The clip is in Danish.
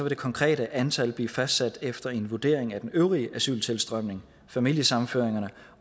det konkrete antal blive fastsat efter en vurdering af den øvrige asyltilstrømning familiesammenføringerne